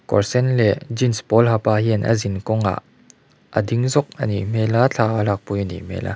kawr sen leh jeans pawl ha pa hian a zin kawngah a ding zawk a nih hmel a thla a lakpui a nih hmel a.